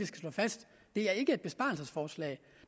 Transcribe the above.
slå fast det er ikke et besparelsesforslag